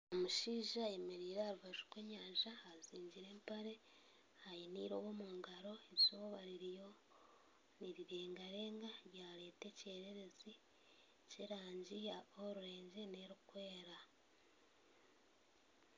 Omushaija ayemereire aha rubaju rw'enyanja ajwaire empare aine eirobo omu ngaro eizooba ririyo nirirengarenga ryareeta ekyererezi ky'erangi ya orurengi n'erikwera